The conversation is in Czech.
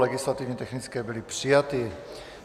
Legislativně technické byly přijaty.